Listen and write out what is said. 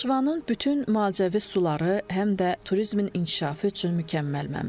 Naxçıvanın bütün müalicəvi suları həm də turizmin inkişafı üçün mükəmməl mənbədir.